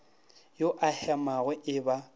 a o hemago e ba